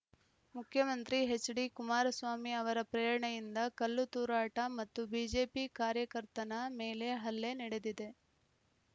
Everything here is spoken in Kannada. ಮುಖ್ಯಮಂತ್ರಿ ಎಚ್‌ ಡಿ ಕುಮಾರಸ್ವಾಮಿ ಅವರ ಪ್ರೇರಣೆಯಿಂದ ಕಲ್ಲು ತೂರಾಟ ಮತ್ತು ಬಿಜೆಪಿ ಕಾರ್ಯಕರ್ತನ ಮೇಲೆ ಹಲ್ಲೆ ನಡೆದಿದೆ